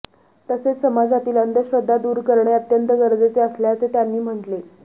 तसेच समाजातील अंधश्रद्धा दूर करणे अत्यंत गरजेचे असल्याचे त्यांनी म्हटले